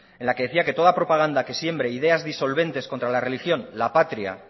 en la que decía que toda propaganda que siembre ideas disolventes contra la religión la patria